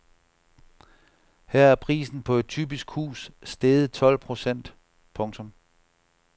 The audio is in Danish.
Her er prisen på et typisk hus steget tolv procent. punktum